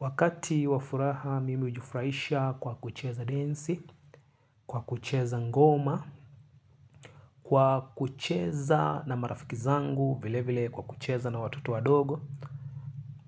Wakati wafuraha, mimi hujifurahisha kwa kucheza densi, kwa kucheza ngoma, kwa kucheza na marafiki zangu, vile vile kwa kucheza na watoto wa dogo.